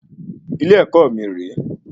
Ilé-èkó mí rè é